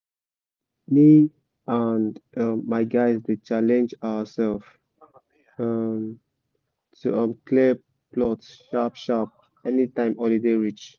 me and my guys dey challenge ourself to clear plot sharp-sharp anytime holiday reach